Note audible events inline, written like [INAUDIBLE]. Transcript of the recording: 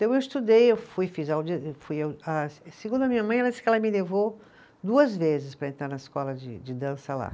Então eu estudei, eu fui, fiz, [UNINTELLIGIBLE] fui ah, segundo a minha mãe, ela disse que ela me levou duas vezes para entrar na escola de de dança lá.